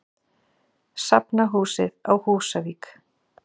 Safnahúsið á Húsavík.